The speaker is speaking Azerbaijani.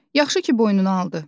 Yaxşı ki, boynuna aldı.